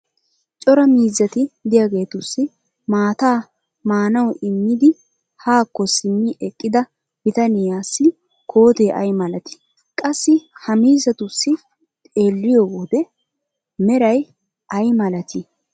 cora miizzati diyaageetussi maataa maanawu immidi haakko simmi eqqida bitaniyaassi kootee ay malatii? Qassi ha miizzatussi xeeliyoode meray ay malatii?